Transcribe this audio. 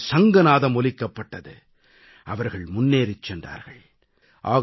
சுதந்திரத்தின் சங்கநாதம் ஒலிக்கப்பட்டது அவர்கள் முன்னேறிச் சென்றார்கள்